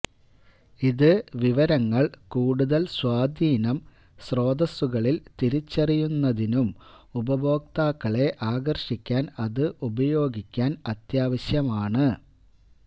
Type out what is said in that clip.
ഇത് വിവരങ്ങൾ കൂടുതൽ സ്വാധീനം സ്രോതസ്സുകളിൽ തിരിച്ചറിയുന്നതിനും ഉപഭോക്താക്കളെ ആകർഷിക്കാൻ അത് ഉപയോഗിക്കാൻ അത്യാവശ്യമാണ്